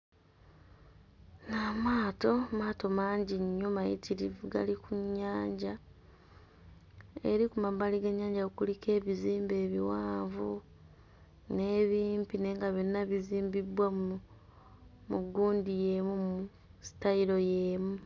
Amaato, maato mangi nnyo mayitirivu gali ku nnyanja. Eri ku mabbali g'ennyanja kuliko ebizimbe ebiwanvu n'ebimpi naye nga byonna bizimbibbwa mu mu gundi y'emu mu sitayiro y'emu.